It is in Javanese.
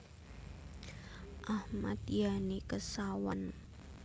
Ahmad Yani Kesawan